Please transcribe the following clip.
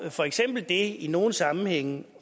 for eksempel det i nogle sammenhænge